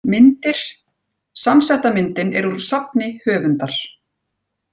Myndir: Samsetta myndin er úr safni höfundar.